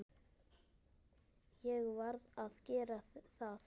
Ég varð að gera það.